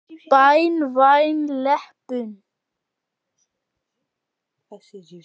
Banvæn leppun.